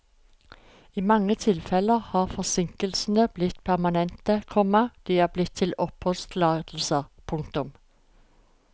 I mange tilfeller har forsinkelsene blitt permanente, komma de er blitt til oppholdstillatelser. punktum